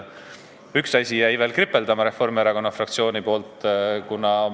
Üks asi jäi veel Reformierakonna fraktsioonil kripeldama.